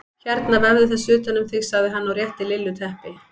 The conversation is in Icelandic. Hérna vefðu þessu utan um þig sagði hann og rétti Lillu teppi.